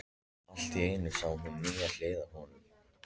Allt í einu sá hún nýja hlið á honum.